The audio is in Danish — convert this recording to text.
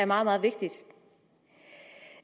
meget meget vigtigt